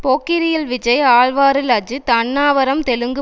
போக்கிரியில் விஜய் ஆழ்வாரில் அஜித் அன்னாவரம் தெலுங்கு